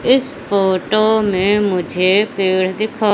इस फोटो मे मुझे पेड़ दिखा--